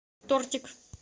тортик